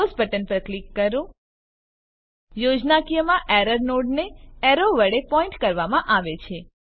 close button પર click કરો યોજ્નાકીયમાં એરર નોડને એરો વડે પોઈન્ટ કરવામાં આવે છે